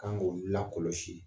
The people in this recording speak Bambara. K'an k'o lakɔlɔsi